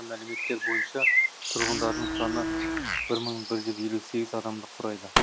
мәліметтер бойынша тұрғындарының саны бір мың бір жүз елу сегіз адамды құрайды